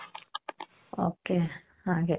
ok ಹಾಗೆ .